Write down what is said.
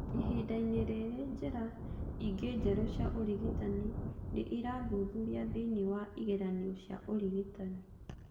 Ihinda-inĩ rĩrĩ, njĩra ingĩ njerũ cia ũrigitani nĩ irathuthuria thĩinĩ wa igeranio cia ũrigitani.